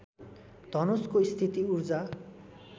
धनुषको स्थिति ऊर्जा